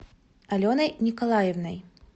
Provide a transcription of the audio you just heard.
аленой николаевной